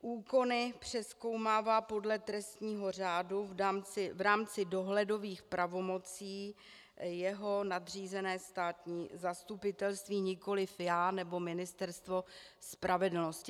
Úkony přezkoumává podle trestního řádu v rámci dohledových pravomocí jeho nadřízené státní zastupitelství, nikoliv já nebo Ministerstvo spravedlnosti.